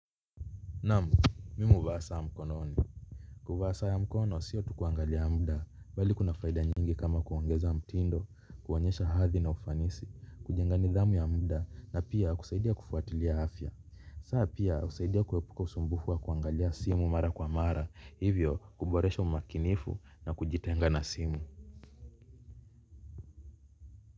Naam, mimu huvaa saa mkononi. Kuvaa saa ya mkono siyo tukuangalia mda bali kuna faida nyingi kama kuongeza mtindo, kuonyesha hathi na ufanisi, kujenga nidhamu ya mda na pia kusaidia kufuatilia afya. Saa pia usaidia kuepuka usumbufu wa kuangalia simu mara kwa mara hivyo kuboresha makinifu na kujitenga na simu.